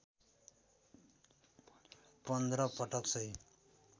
१५ पटक सही